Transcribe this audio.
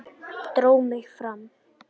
Dró mig fram.